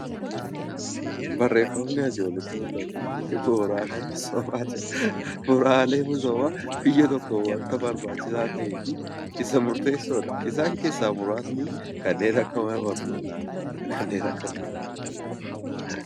Barreeffamni asii olitti mul'atu kun bu'uuraalee misoomaa jedha. Bu'uuraaleen misoomaa biyya tokkoof wanta barbaachisaa ta'ee fi wanta murteessaa ta'edha. Isaan keessaa kanneen akka mana barnootaa fa'aa